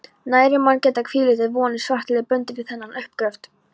Nærri má geta, hvílíkar vonir svartliðar bundu við þennan uppgröft.